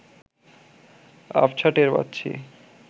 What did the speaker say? আবছা টের পাচ্ছি